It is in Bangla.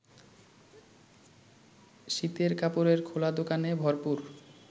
শীতের কাপড়ের খোলা দোকানে ভরপুর